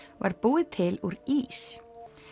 var búið til úr ís